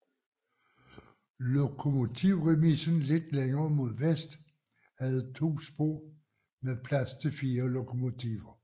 Lokomotivremisen lidt længere mod vest havde to spor med plads til 4 lokomotiver